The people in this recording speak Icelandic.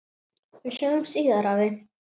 Við sjáumst síðar, afi.